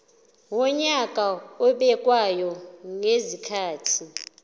wonyaka obekwayo ngezikhathi